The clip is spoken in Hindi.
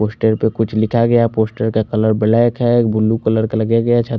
पोस्टर पर कुछ लिखा गया है पोस्टर का कलर ब्लैक है ब्लू कलर लि गया है छ--